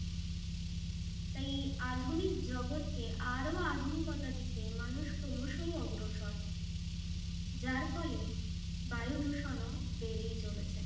তাই আধুনিক জগৎকে আরো আধুনিকতা দিতে মানুষ ক্রমশাই অগ্রসর যার ফলে বায়ু দূষণ ও বেড়েই চলেছে